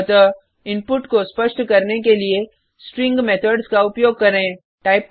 अतः इनपुट को स्पष्ट करने के लिए स्ट्रिंग मेथड्स का उपयोग करें